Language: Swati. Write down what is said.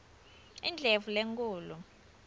indlovulenkhulu